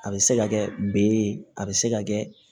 A bɛ se ka kɛ be ye a bɛ se ka kɛ